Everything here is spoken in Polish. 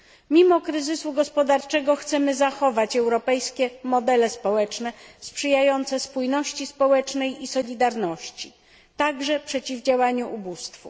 Mimo kryzysu gospodarczego chcemy zachować europejskie modele społeczne sprzyjające spójności społecznej i solidarności, także w przeciwdziałaniu ubóstwu.